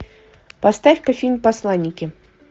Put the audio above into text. поставь ка фильм посланники